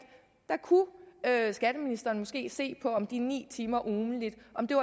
at skatteministeren måske kunne se på om de ni timer ugentligt